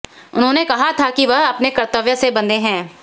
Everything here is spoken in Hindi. उन्होंने कहा था कि वह अपने कर्तव्य से बंधे हैं